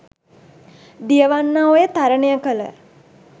දියවන්නා ඔය තරණය කළ